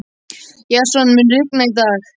Jason, mun rigna í dag?